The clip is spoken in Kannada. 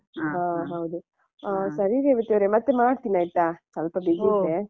ಹ ಹೌದು ಹಾ ಸರಿ ರೇವತಿಯವರೇ ಮತ್ತೆ ಮಾಡ್ತಿನಾಯ್ತಾ ಸ್ವಲ್ಪ busy ಇದ್ದೆ.